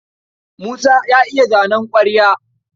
Musa ya iya zanen ƙwarya.